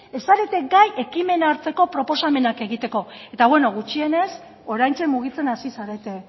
ez zarete gai ekimena hartzeko proposamenak egiteko eta beno gutxienez oraintxe mugitzen hasi zarete